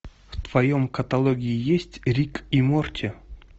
в твоем каталоге есть рик и морти